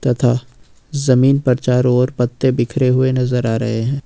तथा जमीन पर चारों ओर पत्ते बिखरे हुए नजर आ रहे हैं।